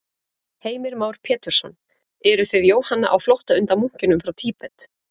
Heimir Már Pétursson: Eruð þið Jóhanna á flótta undan munkinum frá Tíbet?